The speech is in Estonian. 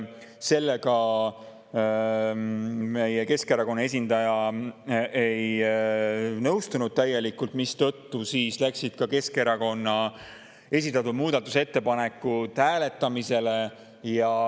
Sellega Keskerakonna esindaja täielikult ei nõustunud, mistõttu läksid ka Keskerakonna esitatud muudatusettepanekud hääletamisele.